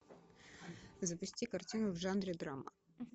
запусти картину в жанре драма